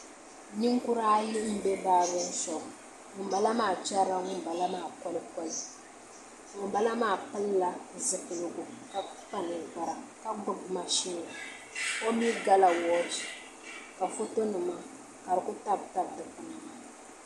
Ninkura ayi n bɛ baabirin shop ŋunbala maa chɛrila ŋunbala maa koli koli ŋunbala maa pilila zipiligu ka kpa ninkpara ka gbubi mashin o mii gala woochi ka foto nima ka di ku tabitabi dikpuna